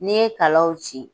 N'i ye kalaw ci